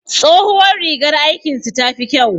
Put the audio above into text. Tsohuwar rigar aikin su ta fi kyau